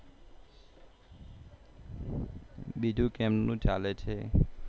બીજું કેમનું ચાલે છે